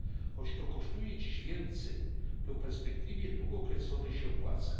Choć to kosztuje dziś więcej, to w perspektywie długookresowej się opłaca.